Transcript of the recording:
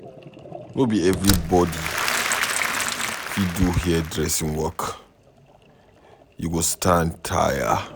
No be everybodi fit do hair-dressing work o, you go stand tire.